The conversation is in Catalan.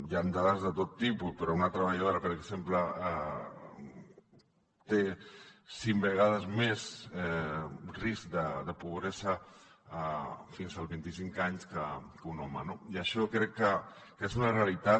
i hi han dades de tot tipus però una treballadora per exemple té cinc vegades més risc de pobresa fins als vint i cinc anys que un home no i això crec que és una realitat